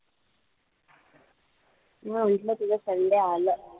मी म्हंटलं तुझं sunday आलं.